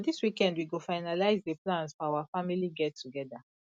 na dis weekend we go finalize the plans for our family get togeda